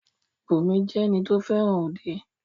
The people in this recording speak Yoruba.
Bùnmi jẹ́ ẹni tí o fẹràn òde.